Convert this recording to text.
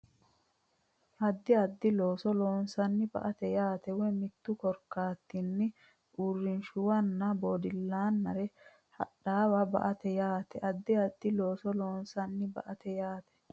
Addi addi looso loonsanni ba ate yaate woyi mittu korkaatinni uurrinshuwanna bodillaannare hadhaawe ba ate yaate Addi addi looso loonsanni ba ate yaate.